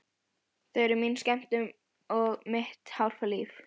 Þau eru mín skemmtun og mitt hálfa líf.